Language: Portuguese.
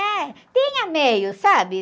É, tinha meios, sabe?